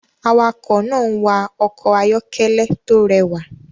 Awakọ̀ náà ń wa ọkọ̀ ayọ́kẹ́lẹ́ tó rẹwà